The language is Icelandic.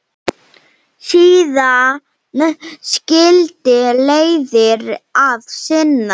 Síðan skildi leiðir að sinni.